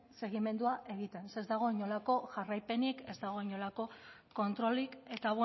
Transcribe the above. segimendua egiten ze ez dago inolako jarraipenik ez dago inolako kontrolik eta